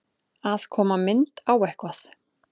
Að koma mynd á eitthvað